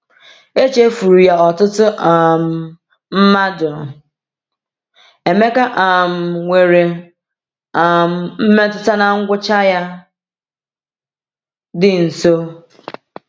Echefuru ya ọtụtụ um mmadụ, Emeka um nwere um mmetụta na ngwụcha ya dị nso.